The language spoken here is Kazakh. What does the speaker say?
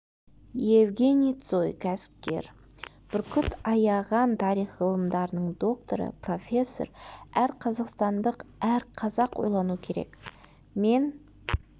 евгений цой кәсіпкер бүркіт аяған тарих ғылымдарының докторы профессор әр қазақстандық әр қазақ ойлану керек мен